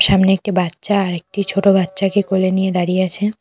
সামনে একটি বাচ্চা আরেকটি ছোট বাচ্চাকে কোলে নিয়ে দাঁড়িয়ে আছে।